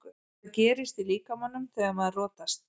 Hvað gerist í líkamanum þegar maður rotast?